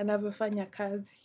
anavyofanya kazi.